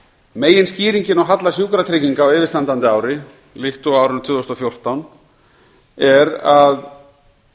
meginskýringin á halla sjúkratrygginga á yfirstandandi ári líkt og á árinu tvö þúsund og fjórtán er að